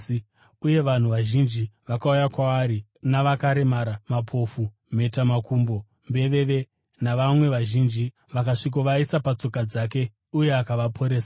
Uye vanhu vazhinji vakauya kwaari navakaremara, mapofu, mhetamakumbo, mbeveve navamwe vazhinji, vakasvikovaisa patsoka dzake uye akavaporesa.